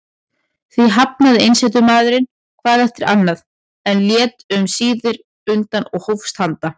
Því hafnaði einsetumaðurinn hvað eftir annað, en lét um síðir undan og hófst handa.